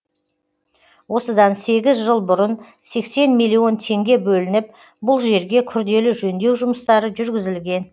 осыдан сегіз жыл бұрын сексен миллион теңге бөлініп бұл жерге күрделі жөндеу жұмыстары жүргізілген